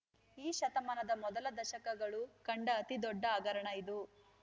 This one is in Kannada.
ಈ ಶತಮಾನದ ಮೊದಲ ದಶಕಗಳು ಕಂಡ ಅತೀ ದೊಡ್ಡ ಹಗರಣ ಇದು